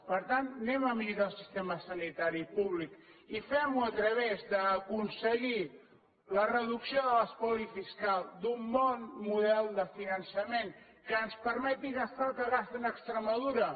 per tant anem a millorar el sistema sanitari públic i fem ho a través d’aconseguir la reducció de l’espoli fiscal d’un bon model de finançament que ens permeti gastar el que gasten a extremadura